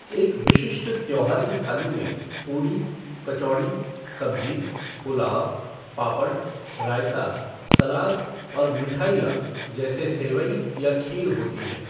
एक विशिष्ट त्यौहार की थाली में पूड़ी, कचौड़ी, सब्जी, पुलाव, पापड़, रायता, सलाद और मिठाइयां जैसे सेंवई या खीर होती हैं।